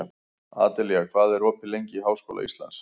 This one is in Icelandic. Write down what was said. Adelía, hvað er opið lengi í Háskóla Íslands?